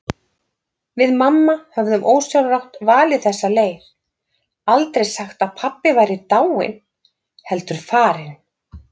Við mamma höfðum ósjálfrátt valið þessa leið, aldrei sagt að pabbi væri dáinn, heldur farinn.